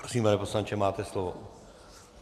Prosím, pane poslanče, máte slovo.